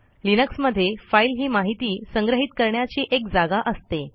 लिनक्समध्ये फाईल ही माहिती संग्रहित करण्याची एक जागा असते